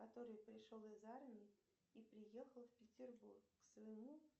который пришел из армии и приехал в петербург к своему